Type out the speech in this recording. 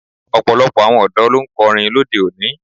Ọ̀pọ̀lọpọ̀ àwọn ọ̀dọ́ ló ń kọrin lóde òní.